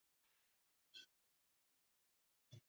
Er hann friðaður?